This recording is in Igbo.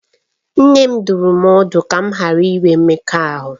Nne m dụrụ m ọdụ ka m ghara inwe mmekọahụ